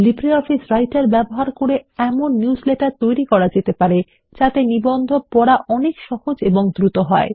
LibreOffice writer ব্যবহার করে এমন নিউজলেটার তৈরি করা যেতে পারে যাতে নিবন্ধ পড়া অনেক সহজ ও দ্রুত হবে